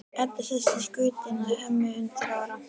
Edda sest í skutinn en Hemmi undir árar.